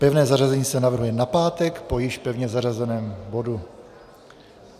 Pevné zařazení se navrhuje na pátek po již pevně zařazeném bodu.